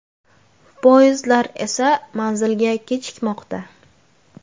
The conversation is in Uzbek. Poyezdlar esa manzilga kechikmoqda.